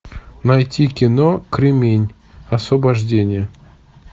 найти кино кремень освобождение